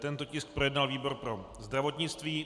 Tento tisk projednal výbor pro zdravotnictví.